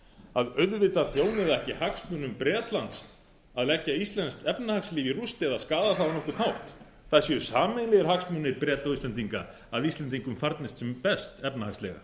að auðvitað þjóni það ekki hagsmunum bretlands að leggja íslenskt efnahagslíf í rúst eða skaða það á nokkurn hátt það séu sameiginlegir hagsmunir breta og íslendinga að íslendingum farnist sem best efnahagslega